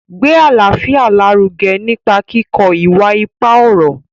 Gbé àlàáfíà lárugẹ nípa kíkọ ìwà ipá ọ̀rọ̀.